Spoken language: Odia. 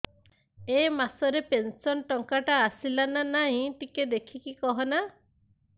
ଏ ମାସ ରେ ପେନସନ ଟଙ୍କା ଟା ଆସଲା ନା ନାଇଁ ଟିକେ ଦେଖିକି କହନା